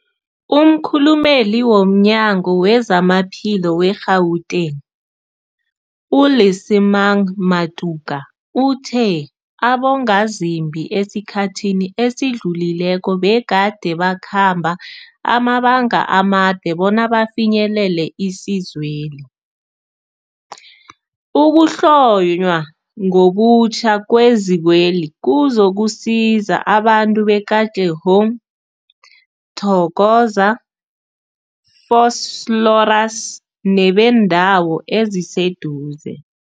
Umkhulumeli womNyango weZamaphilo we-Gauteng, u-Lesemang Matuka uthe abongazimbi esikhathini esidlulileko begade bakhamba amabanga amade bona bafinyelele isizweli. Ukuhlonywa ngobutjha kwezikweli kuzokusiza abantu be-Katlehong, Thokoza, Vosloorus nebeendawo eziseduze.